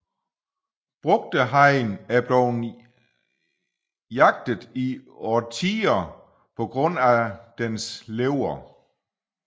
Brugdehajen er blevet jaget i årtier på grund af denne lever